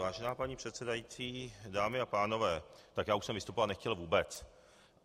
Vážená paní předsedající, dámy a pánové, tak já už jsem vystupovat nechtěl vůbec.